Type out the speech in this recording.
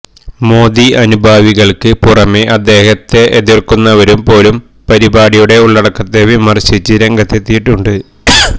മോദി അനുഭാവികള്ക്ക് പുറമേ അദ്ദേഹത്തെ എതിര്ക്കുന്നവരും പോലും പരിപാടിയുടെ ഉള്ളടക്കത്തെ വിമര്ശിച്ച് രംഗത്തെത്തിയിട്ടുണ്ട്